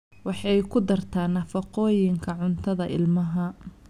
Waxay ku dartaa nafaqooyinka cuntada ilmaha.